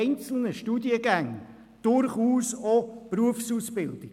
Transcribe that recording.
Einzelne Studiengänge sind durchaus auch Berufsausbildungen.